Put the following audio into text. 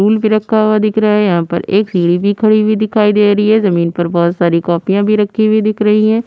Stool भी रखा हुआ दिख रहा है। यहां पर एक सीढ़ी खड़ी हुई दिखाई दे रही है। जमीन पर बोहोत सारी कॉपियां भी रखी हुई दिख रही हैं।